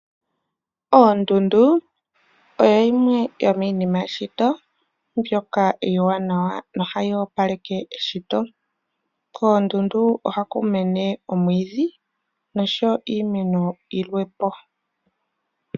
Oondundu odho dhimwe dho miinima yomeshito mbyoka iiwanawa, nohayi opaleke eshito, koondundu ohaku mene oomwidhi osho wo iimeno yilwepo.